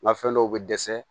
Nka fɛn dɔw bɛ dɛsɛ